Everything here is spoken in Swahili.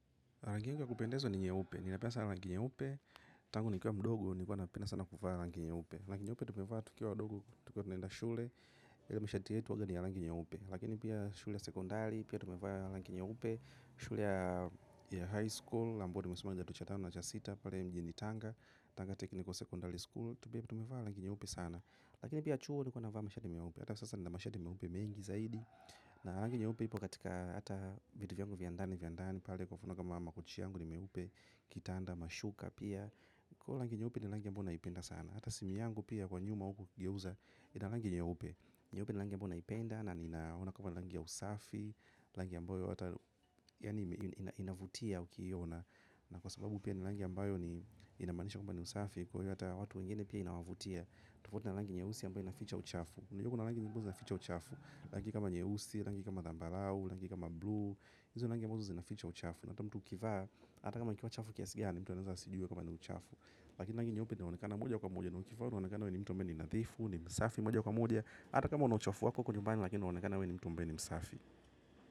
Rangi yangu ya kupendeza ni nyeupe. Ninapenda sana rangi nyeupe. Tangu nikiwa mdogo nilikua napenda sana kuvaa na rangi nyeupe. Rangi nyeupe tumevaa tukiwa wadogo. Tukiwa tunaenda shule. Ile mashati yetu huwaga ni ya rangi nyeupe. Lakini pia shule ya sekondari. Pia tumevaa rangi nyeupe. Shule ya highschool ambayo nimesoma kidato cha tano na cha sita pale mjini tanga Tanga technical secondary school. Tumevaa rangi nyeupe sana. Lakini pia chuo tulikuwa tunavaa mashati meupe hata sasa nina mashati meupe mengi zaidi na rangi nyeupe ipo katika hata viti vya ndani vya ndani pale kwa mfano kama makochi yangu ni meupe kitanda mashuka pia kwaivo rangi nyeupe ni rangi ambayo naipenda sana. Hata simu yangu pia kwa nyuma huku ukigeuza ina rangi nyeupe. Nyeupe ni rangi ambayo naipenda na ninaona kama ni rangi ya usafi rangi ambayo hata inavutia ukiiona na kwa sababu pia ni rangi ambayo inamaanisha kwamba ni usafi. Kwa hiyo hata watu wengine pia inawavutia. Tofauti na rangi nyeusi ambayo inaficha uchafu. Unajua kuna rangi ambazo zinaficha uchafu rangi kama nyeusi, rangi kama zambarau, rangi kama blue hizo ni rangi ambazo zinaficha uchafu na hata mtu ukivaa, ata kama ikiwa chafu kiasi gani mtu anaweza asijue kwamba ni uchafu lakini rangi nyeupe inaonekana moja kwa moja na ukivaa unaonekana kwamba we ni mtu ambaye ni nadhifu we ni msafi moja kwa moja hata kama una uchafu wako huko nyumbani lakini unaonekana kwamba we ni mtu msafi.